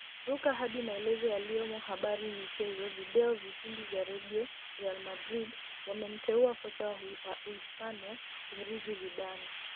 Ruka hadi maelezo Yaliyomo Habari Michezo Video Vipindi vya Redio Real Madrid wamemteua kocha wa Uhispania kumrithi Zidane